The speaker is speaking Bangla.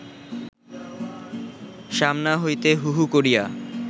সামনা হইতে হু হু করিয়া